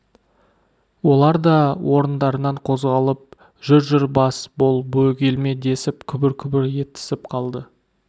олар да орындарынан қозғалып жүр жүр бас бол бөгелме десіп күбір-күбір етісіп қалды